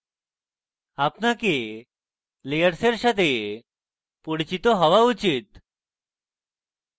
আপনাকে layers সাথে পরিচিত হওয়া উচিত